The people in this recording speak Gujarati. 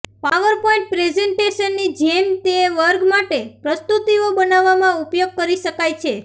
પાવરપોઈન્ટ પ્રેઝન્ટેશનની જેમ તે વર્ગ માટે પ્રસ્તુતિઓ બનાવવામાં ઉપયોગ કરી શકાય છે